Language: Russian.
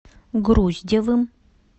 груздевым